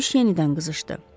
Döyüş yenidən qızışdı.